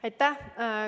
Aitäh!